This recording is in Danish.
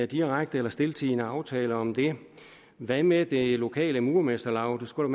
direkte eller stiltiende aftale om det hvad med det lokale murermesterlaug det skulle